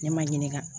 Ne ma ɲininka